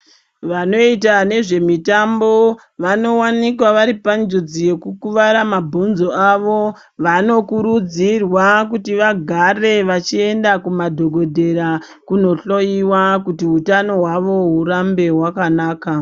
Vanoita nezvemitambo vanowanikwa vari panjodzi yekukuvara mabhonzo avo. Vanokurudzirwa kuti vagare vachienda kumadhokodheya kunohloyiwa kuti hutano hwavo hurambe hwakanaka.